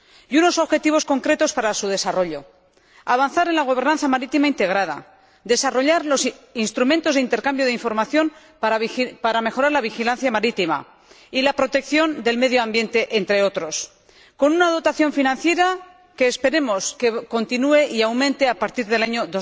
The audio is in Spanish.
y unos objetivos concretos para su desarrollo avanzar en la gobernanza marítima integrada y desarrollar los instrumentos de intercambio de información para mejorar la vigilancia marítima y la protección del medio ambiente, entre otros, con una dotación financiera que esperemos que continúe y aumente a partir del año